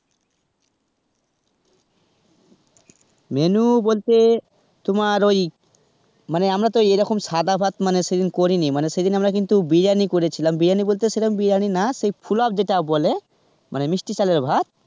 menu বলতে তোমার ওই মানে আমরা তো এই রকম সাদা ভাত মানে সেদিন করিনি, মানে সেদিন আমরা বিরিয়ানি করেছিলাম, বিরিয়ানি বলতে সেরকম বিরিয়ানি না যে পোলাও যেটা বলে মানে মিষ্টি চালের ভাত.